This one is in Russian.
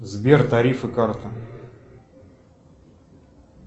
сбер тарифы карта